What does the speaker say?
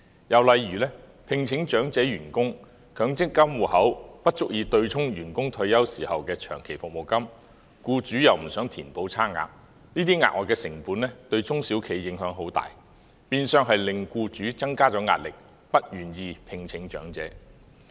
又例如，聘請長者員工，其強積金戶口不足以對沖員工退休時的長期服務金，但僱主又不想填補差額，這些額外成本對中小企的影響很大，變相令僱主增加壓力，不願意聘請長者。